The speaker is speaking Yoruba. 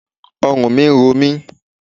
Ọrùn mi ń ro mi.